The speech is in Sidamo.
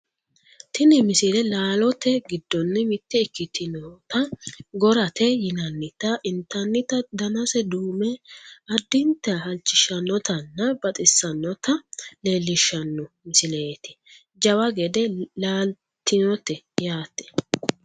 tini misile laalote giddonni mitte ikkitinota gorate yinannita intannita danase duume addinta halchishshannotanna baxissannota leellishshanno misileeti jawa gede laaltinote yaate